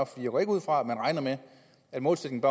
for jeg går ikke ud fra at man regner med at målsætningen